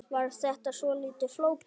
Var þetta svolítið flókið?